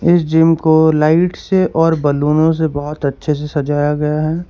इस जिम को लाइट से और बलूनों से बहुत अच्छे से सजाया गया है।